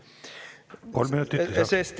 Kolm minutit lisaks.